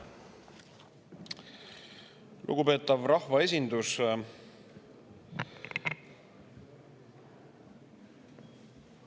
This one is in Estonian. Lugupeetav rahvaesindus!